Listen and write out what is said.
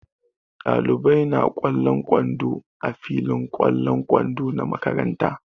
Ɗalibai na ƙwallon kwando a filin ƙwallon kwando na makaranta.